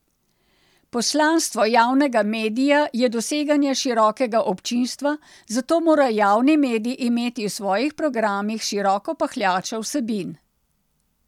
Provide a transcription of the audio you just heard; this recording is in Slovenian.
Poslanstvo javnega medija je doseganje širokega občinstva, zato mora javni medij imeti v svojih programih široko pahljačo vsebin.